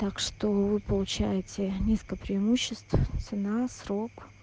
так что вы получаете несколько преимуществ цена срок